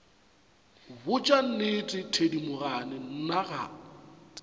botša nnete thedimogane nna ga